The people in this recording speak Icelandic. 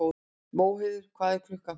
Móheiður, hvað er klukkan?